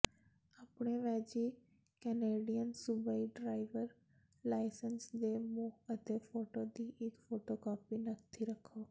ਆਪਣੇ ਵੈਜੀ ਕੈਨੇਡੀਅਨ ਸੂਬਾਈ ਡਰਾਈਵਰ ਲਾਇਸੰਸ ਦੇ ਮੋਹ ਅਤੇ ਫੋਟੋ ਦੀ ਇੱਕ ਫੋਟੋਕਾਪੀ ਨੱਥੀ ਕਰੋ